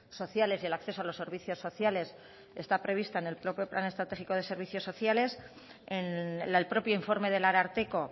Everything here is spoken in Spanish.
sociales y el acceso a los servicios sociales está prevista en el propio plan estratégico de servicios sociales en el propio informe del ararteko